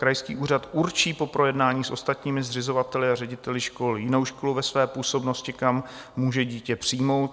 Krajský úřad určí po projednání s ostatními zřizovateli a řediteli škol jinou školu ve své působnosti, kam může dítě přijmout.